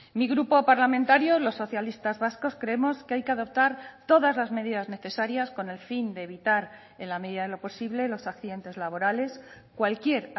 mi grupo parlamentario los socialistas vascos creemos que hay que adoptar todas las medidas necesarias con el fin de evitar en la medida de lo posible los accidentes laborales cualquier